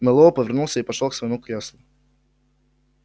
мэллоу повернулся и пошёл к своему креслу